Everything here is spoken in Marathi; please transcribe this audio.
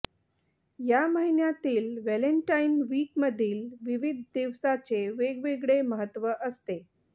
या महिन्यातील व्हॅलेंटाइन वीकमधील विविध दिवसाचे वेगवेगळे महत्त्व असते